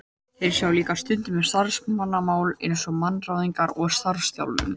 Þeir sjá líka stundum um starfsmannamál eins og mannaráðningar og starfsþjálfun.